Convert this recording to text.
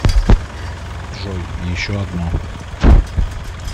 джой и еще одно